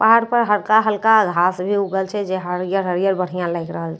पहाड़ पर हल्का हल्का घास भी उगल छै जे हरियर हरियर बढ़िया लागि रहल छै।